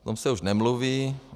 O tom se už nemluví.